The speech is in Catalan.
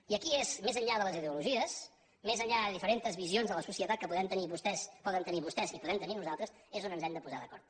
i aquí és més enllà de les ideologies més enllà de diferents visions de la societat que poden tenir vostès i podem tenir nosaltres on ens hem de posar d’acord